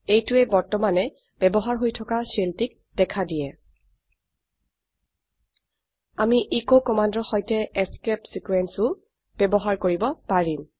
এইটোৱে বৰ্তমানে ব্যবহাৰ হৈ থকা শেলটিক দেখা দিয়ে আমি এচ কমান্ডৰ সৈতে এস্কেপ ছিকোয়েন্স ও ব্যবহাৰ কৰিব পাৰিম